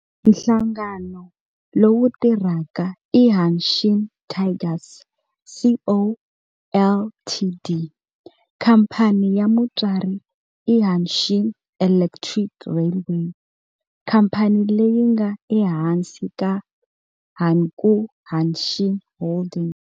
Nhlangano lowu tirhaka i Hanshin Tigers Co., Ltd. Khamphani ya mutswari i Hanshin Electric Railway, khamphani leyi nga ehansi ka Hankyu Hanshin Holdings.